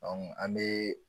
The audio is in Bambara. Dɔnku an mee